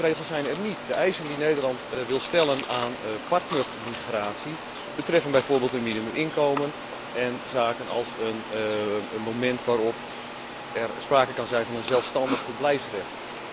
Mijn antwoord is die regels zijn er niet. De eisen die Nederland wil stellen aan partnermigratie betreffen bijvoorbeeld een minimuminkomen en zaken als een moment waarop er sprake kan zijn van een zelfstandig verblijfsrecht.